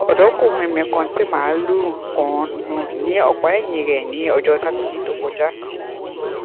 ọdọkùnrin mi kan tí màlúù kan lù ní ọpá ẹyìn rè ní ọjọ sátidé tó kọjá